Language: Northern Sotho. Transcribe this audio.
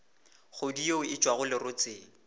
kgodu yeo e tšwago lerotseng